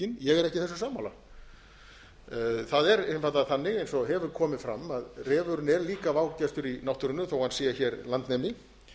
ekki sammála þessu það er einfaldlega þannig eins og hefur komið fram að refurinn er líka vágestur í náttúrunni þó hann sé hér landnemi